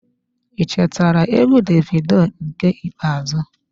I chetara egwu Davido nke ikpeazụ.